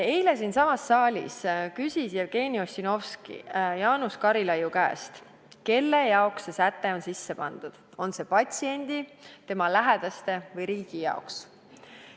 Eile siinsamas saalis küsis Jevgeni Ossinovski Jaanus Karilaidi käest, kelle huvides see säte on sisse pandud – on see patsiendi, tema lähedaste või riigi huvides.